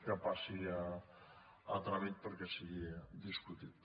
que passi a tràmit perquè sigui discutit